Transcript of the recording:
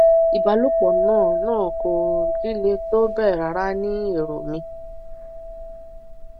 ìbálòpọ náà náà kò líle tó bẹẹ rárá ní èrò mi